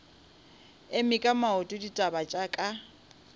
eme ka maoto ditaba tša